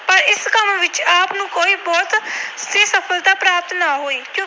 ਪ੍ਰਾਪਤ ਨਾ ਹੋਈ।